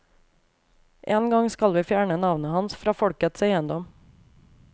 En gang skal vi fjerne navnet hans fra folkets eiendom.